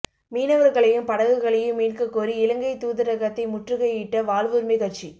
மீனவர்களையும் படகுகளையும் மீட்கக் கோரி இலங்கை தூதரகத்தை முற்றுகையிட்ட வாழ்வுரிமைக் கட்சி